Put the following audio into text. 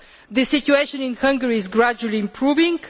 The situation in Hungary is gradually improving.